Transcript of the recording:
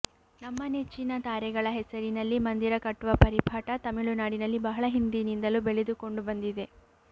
ತಮ್ಮ ನೆಚ್ಚಿನ ತಾರೆಗಳ ಹೆಸರಿನಲ್ಲಿ ಮಂದಿರ ಕಟ್ಟುವ ಪರಿಪಾಠ ತಮಿಳುನಾಡಿನಲ್ಲಿ ಬಹಳ ಹಿಂದಿನಿಂದಲೂ ಬೆಳೆದುಕೊಂಡು ಬಂದಿದೆ